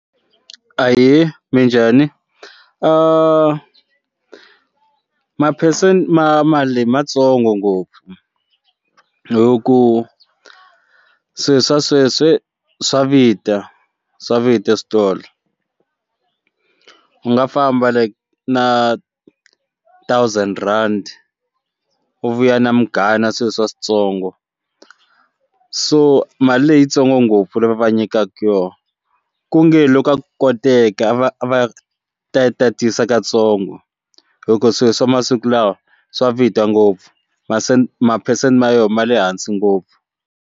Ahee, minjhani maphesente ma mali matsongo ngopfu hi ku swilo swa sweswi swa vita swa vita switolo u nga famba like na thousand rand wu vuya na munghayo na swilo swa switsongo so mali leyitsongo ngopfu leyi va va nyikaka yona ku nge loko a ku koteka va va ta tatisa katsongo hi ku swilo swa masiku lawa swa vita ngopfu masente maphesente ma yo ma le hansi ngopfu.